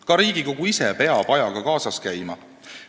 Ka Riigikogu ise peab ajaga kaasas käima.